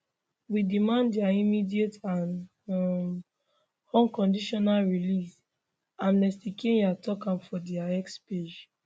we demand dia immediate and um unconditional release amnestykenya tok on dia x page